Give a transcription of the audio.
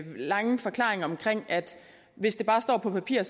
lange forklaring om at hvis det bare står på papir